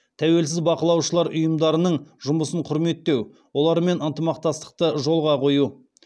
тәуелсіз бақылаушылар ұйымдарының жұмысын құрметтеу олармен ынтымақтастықты жолға қою